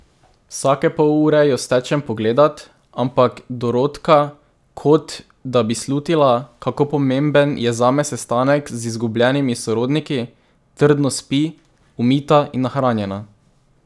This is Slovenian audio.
Vsake pol ure jo stečem pogledat, ampak Dorotka, kot da bi slutila, kako pomemben je zame sestanek z izgubljenimi sorodniki, trdno spi, umita in nahranjena.